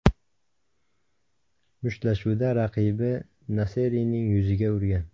Mushtlashuvda raqibi Naserining yuziga urgan.